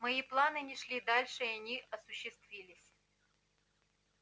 мои планы не шли дальше и они осуществились